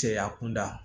Cɛya kunda